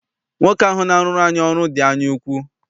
Nwoke ahụ na-arụrụ anyị ọrụ dị anyaukwu.